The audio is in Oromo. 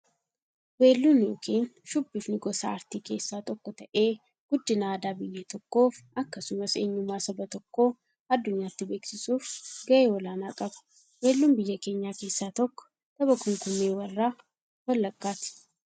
Weelluun yookin shubbifni gosa aartii keessaa tokko ta'ee, guddina aadaa biyya tokkoof akkasumas eenyummaa saba tokkoo addunyyaatti beeksisuuf gahee olaanaa qaba. Weelluun biyya keenyaa keessaa tokko tapha kumkummee warra wallaggaati.